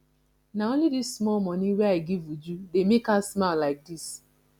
na only dis small money wey i give uju dey make her smile like dis